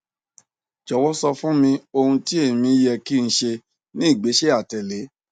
jọwọ sọ fun mi ohun ti emi yẹ ki n ṣe ni igbesẹ atẹle